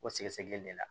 O sɛgɛsɛgɛli de la